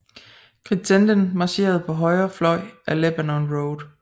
Crittenden marcherede på højre fløj ad Lebanon Road